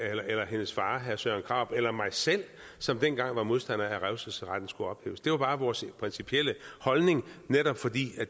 eller eller hendes far herre søren krarup eller mig selv som dengang var modstandere af at revselsesretten skulle ophæves det var bare vores principielle holdning netop fordi